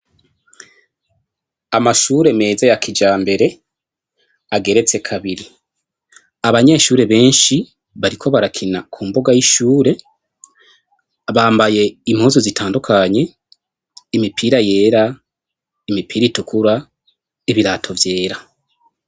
Amashure meza ya kija mbere ageretse kabiri abanyeshure benshi bariko barakina ku mboga y'ishure bambaye impozu zitandukanye imipira yera imipira itukura ibirato vyera.